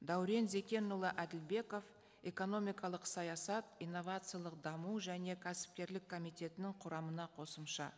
дәурен зекенұлы әділбеков экономикалық саясат инновациялық даму және кәсіпкерлік комитетінің құрамына қосымша